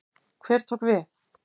Hver tók við?